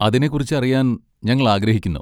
അതിനെക്കുറിച്ച് അറിയാൻ ഞങ്ങൾ ആഗ്രഹിക്കുന്നു.